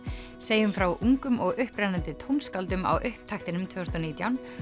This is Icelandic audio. segjum frá ungum og upprennandi tónskáldum á upptaktinum tvö þúsund og nítján